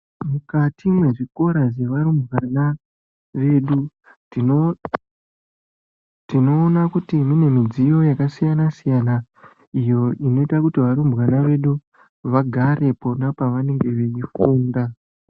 Mukati mwezvikora zvevarumbwana vedu, tinoona kuti mune midziyo yakasiyana-siyana, iyo inoyita kuti varumbwana vedu vagare pona pavanenge veyifunda.